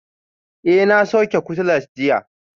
Eh, na sauke cutlass jiya